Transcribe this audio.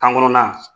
Kan kɔnɔna